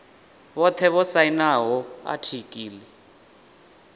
vhothe vho sainaho atiki ḽi